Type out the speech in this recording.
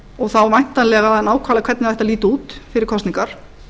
og þá væntanlega nákvæmlega hvernig það ætti að líta út fyrir kosningar